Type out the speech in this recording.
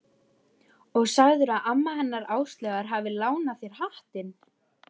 Og sagðirðu að amma hennar Áslaugar hafi lánað þér hattinn?